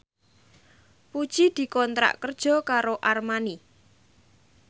Puji dikontrak kerja karo Armani